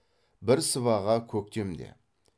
бір сыбаға көктемде